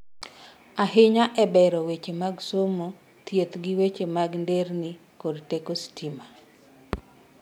ahinya e bero weche mag somo, thieth gi weche mag nderni kod teko sitima